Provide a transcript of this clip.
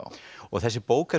þessi bók er